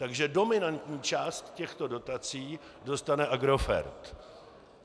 Takže dominantní část těchto dotací dostane Agrofert.